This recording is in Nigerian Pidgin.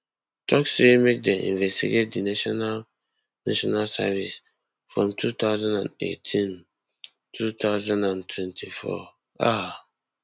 tok say make dem investigate di national national service from two thousand and eighteen two thousand and twenty-four um